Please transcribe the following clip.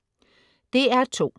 DR2: